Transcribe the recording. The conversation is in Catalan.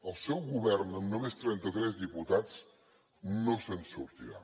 el seu govern amb només trenta tres diputats no se’n sortirà